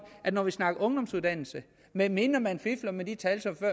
at når vi snakker om ungdomsuddannelse medmindre man fifler med de tal som